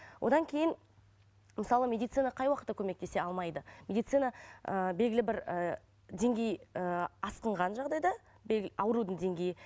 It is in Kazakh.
одан кейін мысалы медицина қай уақытта көмектесе алмайды медицина ыыы белгілі бір ы деңгей ыыы асқынған жағдайда аурудың деңгейі